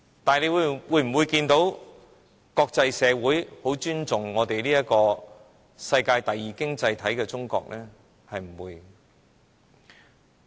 但是，就我們所見，國際社會是否很尊重作為世界第二大經濟體的中國？